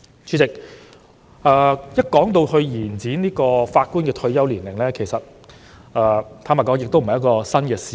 主席，有關延展法官退休年齡的討論，坦白說並不是新事物。